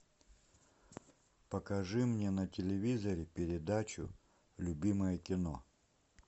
покажи мне на телевизоре передачу любимое кино